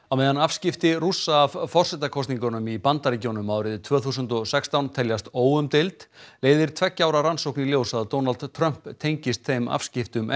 á meðan afskipti Rússa af forsetakosningunum í Bandaríkjunum árið tvö þúsund og sextán teljast óumdeild leiðir tveggja ára rannsókn í ljós að Donald Trump tengist þeim afskiptum